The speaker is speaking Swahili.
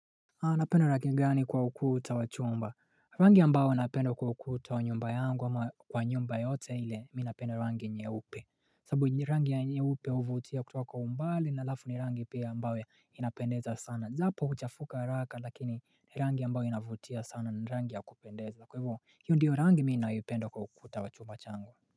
Napenda rangi gani kwa ukuta wa chumba? Rangi ambayo napenda kwa ukuta wa nyumba yangu ama kwa nyumba yoyote ile, mi napenda rangi nyeupe. Sababu rangi ya nyeupe huvutia kutoka kwa umbali na halafu ni rangi pia ambayo inapendeza sana. Ijapo huchafuka haraka lakini ni rangi ambayo inavutia sana ni rangi ya kupendeza kwa hivo hiyo ndiyo rangi mi nayoipenda kwa ukuta wa chumba changu.